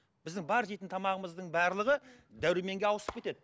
біздің бар жейтін тамағымыздың барлығы дәруменге ауысып кетеді